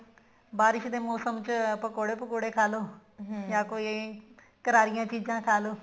ਬਾਰਿਸ਼ ਦੇ ਮੋਸਮ ਚ ਪਕੋੜੇ ਪਕੁੜੇ ਖਾਲੋ ਯਾ ਕੋਈ ਕਰਾਰੀਆਂ ਚੀਜ਼ਾਂ ਖਾਲੋ